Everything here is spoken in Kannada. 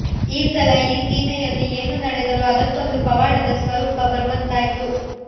ಈ ಸಲ ಈ ಸೀಮೆಯಲ್ಲಿ ಏನು ನಡೆದರೂ ಅದಕ್ಕೊಂದು ಪವಾಡದ ಸ್ವರೂಪ ಬರುವಂತಾಯ್ತು